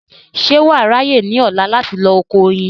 ṣé wà á ráyè ní ọ̀la láti lọ oko oyin